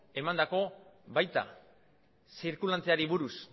emandakoak baita zirkulanteari buruz